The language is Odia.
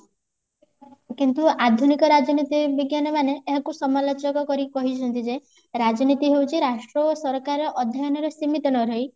କିନ୍ତୁ ଆଧୁନିକ ରାଜନୀତି ବିଜ୍ଞାନ ମାନେ ଏହାକୁ ସମାଲୋଚକ କରି କହିଛନ୍ତି ଯେ ରାଜନୀତି ହଉଛି ରାଷ୍ଟ୍ର ଓ ସରକାର ଅଧ୍ୟୟନ ରେ ସୀମିତ ନ ରହି